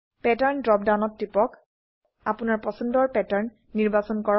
pattern drop ডাউনত টিপক আপোনৰ পছন্দৰ প্যাটাৰ্ন নিৰ্বাচন কৰক